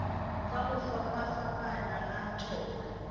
ka go fapafapana ga tšona